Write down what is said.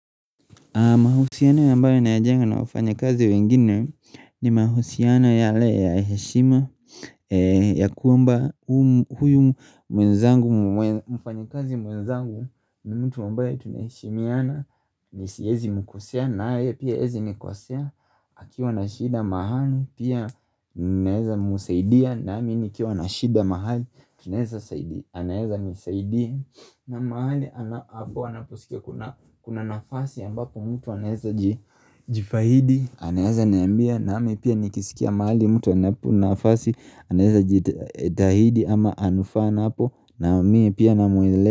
Mahusiano ambayo ninayajenga na wafanyakazi wengine ni mahusiano yale ya heshima ya kwamba huyu mwenzangu mfanyakazi mwenzangu ni mtu ambae tunaheshimiana na siwezi mkosea nae pia hawezi nikosea akiwa na shida mahali, pia naweza msaidia nami nikiwa na shida mahali, anaweza nisaidia na mahali, anaposikia kuna nafasi ambapo mtu anaweza jitahidi anaweza niambia, nami pia nikisikia mahali mtu anapoona nafasi anaweza jitahidi ama anafaa napo na mie pia ninamueleza.